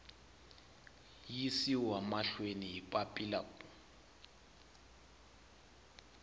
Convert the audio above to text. yisiwa mahlweni hi papila ku